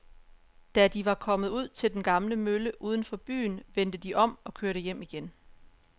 Da de var kommet ud til den gamle mølle uden for byen, vendte de om og kørte hjem igen.